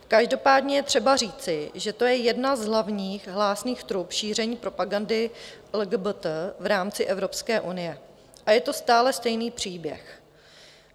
Každopádně je třeba říci, že to je jedna z hlavních hlásných trub šíření propagandy LGBT v rámci Evropské unie, a je to stále stejný příběh.